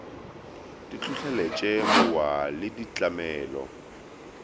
di hlohleletše mowa le ditlamelo